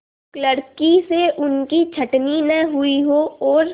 क्लर्की से उनकी छँटनी न हुई हो और